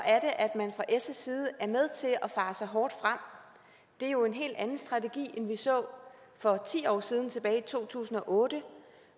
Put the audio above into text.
jeg side er med til at fare så hårdt frem det er jo en helt anden strategi end vi så for ti år siden tilbage i to tusind og otte